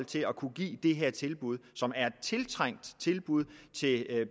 til at kunne give det her tilbud som er et tiltrængt tilbud til